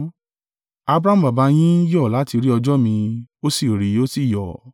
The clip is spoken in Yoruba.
Abrahamu baba yín yọ̀ láti rí ọjọ́ mi, ó sì rí i, ó sì yọ̀.”